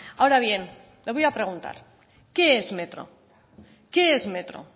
ahora bien le voy a preguntar qué es metro qué es metro